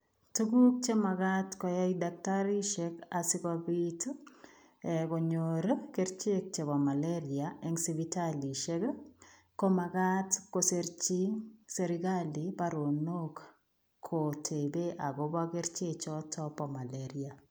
Tuguuk che magaat koyai dakitariisheek asikobiit ii konyoor ii kercheek chebo malaria eng sipitalishek ii komagaat kosirjiin serikali baronook kotebee agobo kercheek chotoon bo malaria.